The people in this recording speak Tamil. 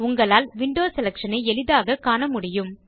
உங்களால் விண்டோ செலக்ஷன் ஐ எளிதாகக் காண முடியும்